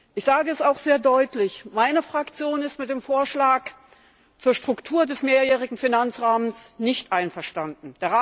Ich sage es auch sehr deutlich Meine Fraktion ist mit dem Vorschlag zur Struktur des Mehrjährigen Finanzrahmens nicht einverstanden.